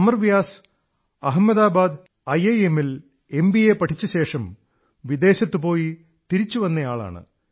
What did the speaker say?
Amar Vyas IIM Ahmedabad ൽ MBA പഠിച്ചശേഷം വിദേശത്ത് പോയി തിരിച്ചു വന്നയാളാണ്